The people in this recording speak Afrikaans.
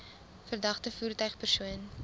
verdagte voertuig persoon